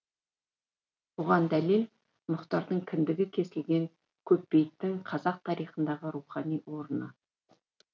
оған дәлел мұхтардың кіндігі кесілген көпбейіттің қазақ тарихындағы рухани орыны